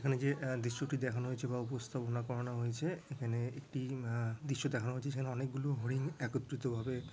এখানে যে দৃশ্যটি দেখানো হয়েছে বা উপস্থাপনা করানো হয়েছে এখানে একটি দৃশ্য দেখানো হয়েছে সেখানে অনেক গুলো হরিণ একত্রিত ভাবে--